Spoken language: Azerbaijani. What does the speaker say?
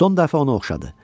Son dəfə onu oxşadı.